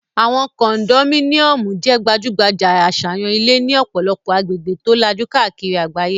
Àwọn kondomíníọ̀mù jẹ́ gbajúgbajà àṣàyàn ilé ní ọ̀pọ̀lọpọ̀ agbègbè tó lajú káàkiri àgbáyé